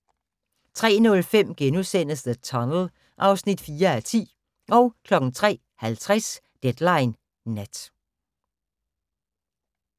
03:05: The Tunnel (4:10)* 03:50: Deadline Nat